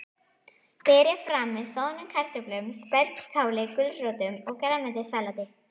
Berið fram með soðnum kartöflum, spergilkáli, gulrótum og grænmetissalati.